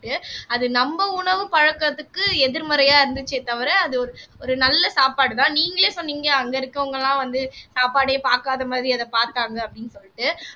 அது நம்ம உணவு பழக்கத்துக்கு எதிர்மறையா இருந்துச்சே தவிர அது ஒரு ஒரு ஒரு நல்ல சாப்பாடுதான் நீங்களே சொன்னீங்க அங்க இருக்கறவங்க எல்லாம் வந்து சாப்பாடே பாக்காத மாதிரி அதை பாத்தாங்க அப்படின்னு சொல்லிட்டு